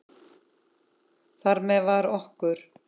Þar með var okkur